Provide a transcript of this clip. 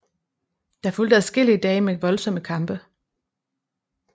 Der fulgte adskillige dage med voldsomme kampe